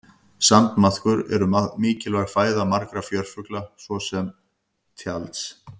sandmaðkar eru mikilvæg fæða margra fjörufugla svo sem tjalds